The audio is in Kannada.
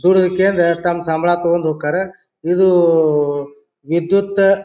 ದುಡಿಯುಕೇಂದ್ ತಮ್ಮ ಸಂಬಳ ತೋಗೊಂಡ್ ಹೂಕ್ಕಾರ ಇದು ವಿದ್ಯುತ --